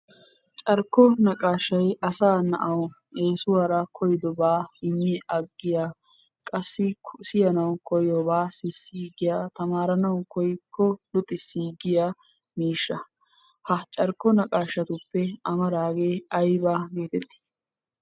Carkko naqaashay asaa na"awu eesuwaara koyidobaa immi aggiya qassi siyanawu koyobaa sissiigiya, tamaaranawu koyikko luxissiigiya miishsha. Ha carkko naqaashatuppe amaaraagee ayibaa geeteti?